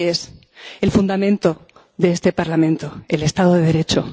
La ley es el fundamento de este Parlamento, el Estado de Derecho.